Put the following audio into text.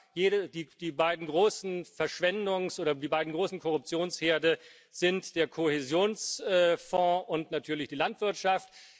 Ja, die beiden großen Verschwendungs oder die beiden großen Korruptionsherde sind der Kohäsionsfonds und natürlich die Landwirtschaft.